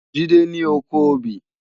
Jide ni ókó óbì